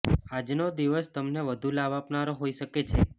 આજનો દિવસ તમને વધુ લાભ આપનારો હોઈ શકે છે